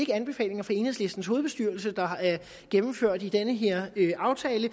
anbefalinger fra enhedslistens hovedbestyrelse der er gennemført i den her aftale